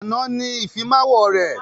Àná ni Ìfimáwo rẹ̀